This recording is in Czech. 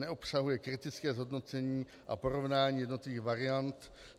Neobsahuje kritické hodnocení a porovnání jednotlivých variant.